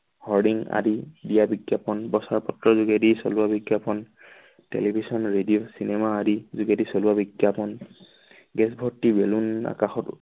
আদি দিয়া বিজ্ঞাপন বছৰ পত্ৰৰ যোগেদি চলোৱা বিজ্ঞাপন। television radio cinema আদি যোগেদি চলোৱা বিজ্ঞাপন gas ভৰ্ত্তি balloon আকাশত